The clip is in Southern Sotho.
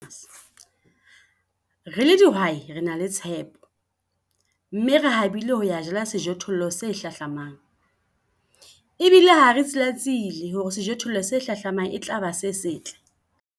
Re le dihwai re na le tshepo, mme re habile ho ya jala sejothollo se hlahlamang. Ebile ha re tsilatsile hore sejothollo se hlahlamang e tla ba se setle.